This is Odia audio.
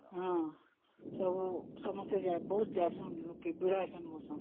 ସମସ୍ତେ ଯାଉଛନ୍ତି, ବହୁତ ଭିଡ ହଉଛନ୍ତି